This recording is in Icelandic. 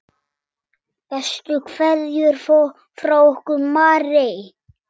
Bestu kveðjur frá okkur Marie.